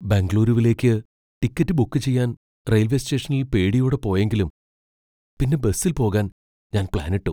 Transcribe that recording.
ബംഗളൂരുവിലേക്ക് ticket book ചെയ്യാൻ railway സ്റ്റേഷനിൽ പേടിയോടെ പോയെങ്കിലും പിന്നെ ബസിൽ പോകാൻ ഞാൻ പ്ലാനിട്ടു.